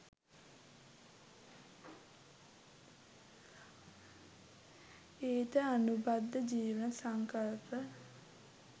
ඊට අනුබද්ධ ජීවන සංකල්ප